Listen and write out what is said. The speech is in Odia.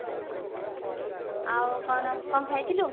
ଆଉ କଣ କଣ ଖାଇଥିଲୁ